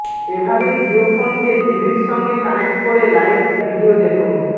এভাবে জিওফোন কে টিভির সঙ্গে কানেক্ট করে লাইভ ভিডিও দেখুন